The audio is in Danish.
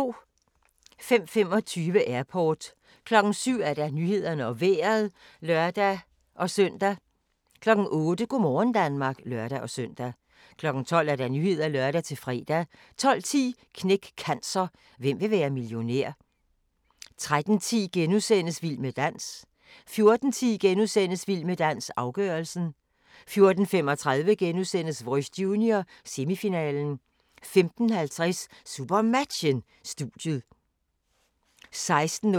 05:25: Airport 07:00: Nyhederne og Vejret (lør-søn) 08:00: Go' morgen Danmark (lør-søn) 12:00: Nyhederne (lør-fre) 12:10: Knæk Cancer: Hvem vil være millionær? 13:10: Vild med dans * 14:10: Vild med dans - afgørelsen * 14:35: Voice Junior - semifinalen * 15:50: SuperMatchen: Studiet 16:05: SuperMatchen: København-Team Esbjerg (k), direkte